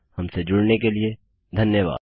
हमसे जुड़ने के लिए धन्यवाद